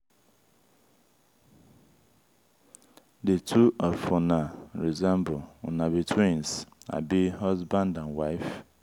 the two of una resemble una be twins abi husband and wife?